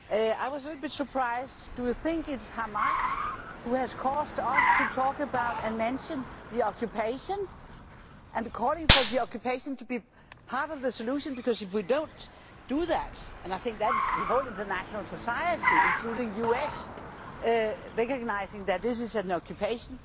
I was a little bit surprised do you think it is Hamas who has caused us to talk about and mention the occupation? And calling for the occupation to be part of the solution, because if we do not do that, I think that it is the whole of international society, including the US, recognising that this is an occupation.